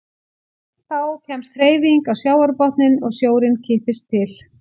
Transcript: Þá kemst hreyfing á sjávarbotninn og sjórinn kippist til.